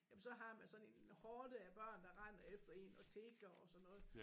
Jamen så har man sådan en horde af børn der render efter én og tigger og sådan noget